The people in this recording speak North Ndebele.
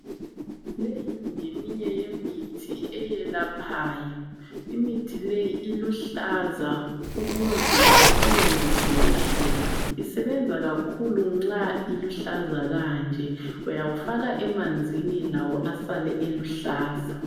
Leyo yiminye yemithi eyelaphayo imithi leyi uluhlaza ukuze isebenze kuhle isebenza kakhulu nxa iluhlaza kanje uyawufaka emanzini lawo asale eluhlaza